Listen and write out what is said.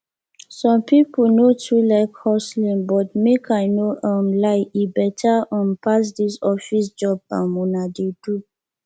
some people no too like hustling but make i no um lie e better um pass dis office job um una dey do